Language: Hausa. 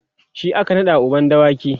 shi aka naɗa uban dawaki